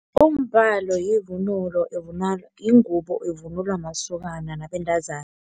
Umbhalo yivunulo yingubo evunulwa masokana nabentazana.